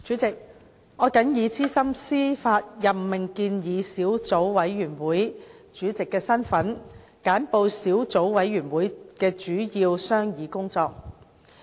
主席，我謹以資深司法任命建議小組委員會主席的身份，簡報小組委員會的主要商議工作。